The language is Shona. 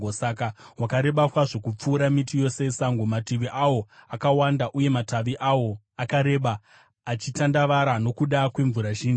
Saka wakareba kwazvo kupfuura miti yose yesango, mativi awo akawanda uye matavi awo akareba, achitandavara nokuda kwemvura zhinji.